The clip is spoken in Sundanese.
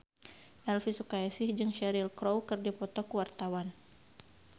Elvi Sukaesih jeung Cheryl Crow keur dipoto ku wartawan